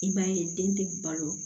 I b'a ye den tɛ balo